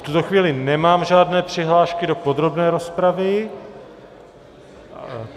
V tuto chvíli nemám žádné přihlášky do podrobné rozpravy.